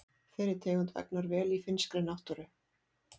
Þeirri tegund vegnar vel í finnskri náttúru.